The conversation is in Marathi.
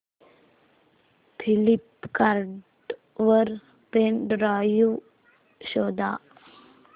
फ्लिपकार्ट वर पेन ड्राइव शोधा